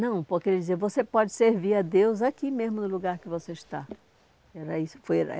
Não, porque ele dizia, você pode servir a Deus aqui mesmo, no lugar que você está. Aí isso foi